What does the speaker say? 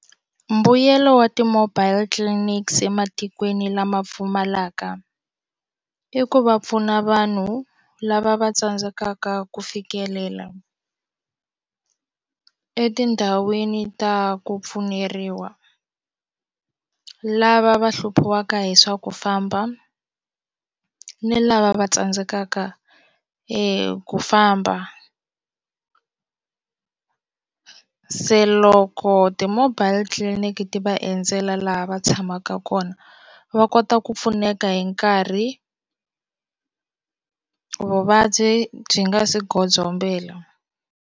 Mbuyelo wa ti-mobile clinics ematikweni lama pfumalaka i ku va pfuna vanhu lava va tsandzekaka ku fikelela etindhawini ta ku pfuneriwa lava va hluphiwaka hi swa ku famba ni lava va tsandzekaka ku famba se loko ti-mobile clinic ti va endzela laha va tshamaka kona va kota ku pfuneka hi nkarhi vuvabyi byi nga si godzombela.